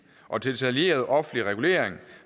og detaljeret offentlig regulering